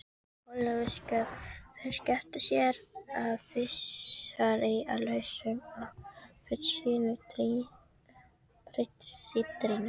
Hólabiskup fer að skipta sér af þessari lausung á prestssetrinu.